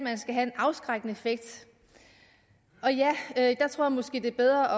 det skal have en afskrækkende effekt og ja jeg tror måske det er bedre